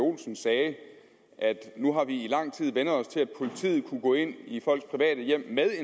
olsen sagde at nu har vi i lang tid vænnet os til at politiet kunne gå ind i folks private hjem det er